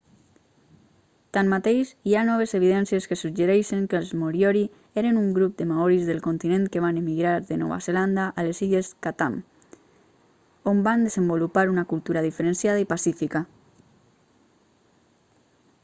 tanmateix hi ha noves evidències que suggereixen que els moriori eren un grup de maoris del continent que van emigrar de nova zelanda a les illes chatham on van desenvolupar una cultura diferenciada i pacífica